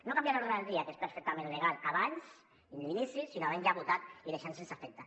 no canviar l’ordre del dia que és perfectament legal abans a l’inici sinó havent lo ja votat deixar lo sense efecte